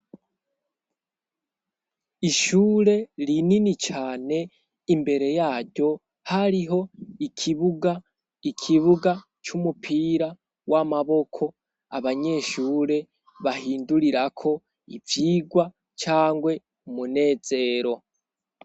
Ishure rinini cane imbere yaryo hariho ikibuga c'umupira w'amaboko abanyeshure bahindurirako ivyigwa cangwe umunezero.